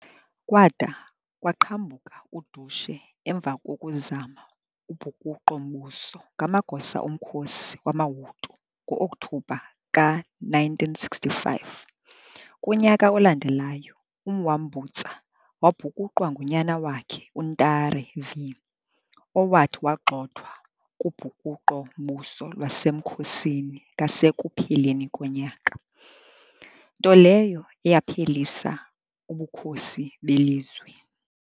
Kwada kwaqhambuka udushe emva kokuzama ubhukuqo-mbuso ngamagosa omkhosi wamaHutu ngo-Okthobha ka-1965. Kunyaka olandelayo uMwambutsa wabhukuqwa ngunyana wakhe uNtare V, owathi wagxothwa kubhukuqo-mbuso lwasemkhosini ngasekupheleni konyaka, nto leyo eyaphelisa ubukhosi belizwe.